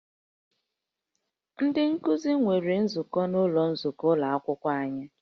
Ndị nkuzi nwere nzukọ n'ụlọ nzukọ ụlọ akwụkwọ ahụ